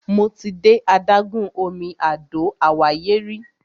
Mo ti de adágún omi Àdó Àwáyé rí.